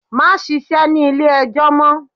Má ṣíṣe ní ilé ẹjọ́ mọ́!